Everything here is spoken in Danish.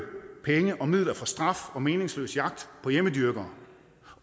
penge og midler fra straf og meningsløse jagt på hjemmedyrkere